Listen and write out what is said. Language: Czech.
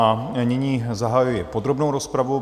A nyní zahajuji podrobnou rozpravu.